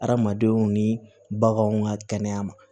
Hadamadenw ni baganw ka kɛnɛya ma